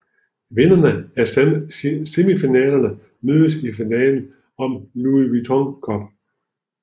Vinderne af semifinalerne mødes i finalen om Louis Vuitton Cup